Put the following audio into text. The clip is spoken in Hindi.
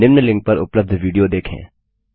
निम्न लिंक पर उपलब्ध विडियो देखें